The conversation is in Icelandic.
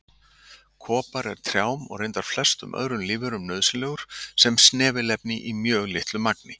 Kopar er trjám, og reyndar flestum öðrum lífverum, nauðsynlegur sem snefilefni í mjög litlu magni.